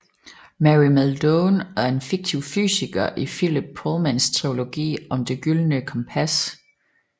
Mary Malone er en fiktiv fysiker i Philip Pullmans trilogi om Det gyldne kompas